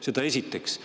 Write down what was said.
Seda esiteks.